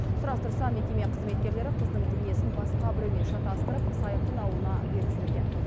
сұрастырса мекеме қызметкерлері қыздың денесін басқа біреумен шатастырып сайқын ауылына беріп жіберген